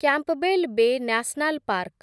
Campbell Bay National park